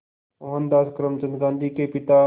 मोहनदास करमचंद गांधी के पिता